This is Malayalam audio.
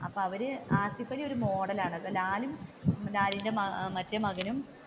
അപ്പൊ അവർ ആസിഫലി ഒരു മോഡലാണ് അപ്പൊ ലാലും ലാലിന്റെ മറ്റേ മകനും